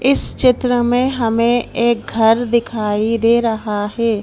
इस चित्र में हमें एक घर दिखाई दे रहा है।